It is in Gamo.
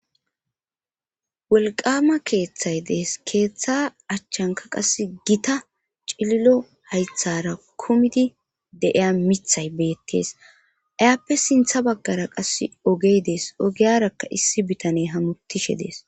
wolqama keeththay dees keeththa achchanka qas gita cililo haythara kumidi deiya mithay beettees ayappe sintha baggara qasse ogey dees ogiyarakka issi bitaney hamutishe dees